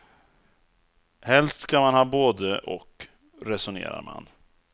Helst ska man ha både och, resonerar man.